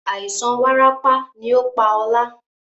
Àìsàn warapa ni ó pá ọ̀la.